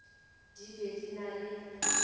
di be di na le